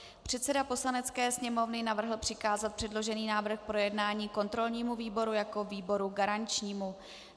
Předseda Poslanecké sněmovny navrhl přikázat předložený návrh k projednání kontrolnímu výboru jako výboru garančnímu.